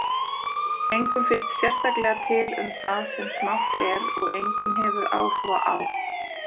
Engum finnst sérstaklega til um það sem smátt er, og enginn hefur áhuga á